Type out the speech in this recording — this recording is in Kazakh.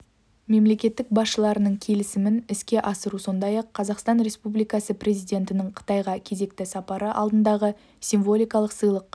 мемлекет басшыларының келісімін іске асыру сондай-ақ қазақстан республикасы президентінің қытайға кезекті сапары алдындағы символикалық сыйлық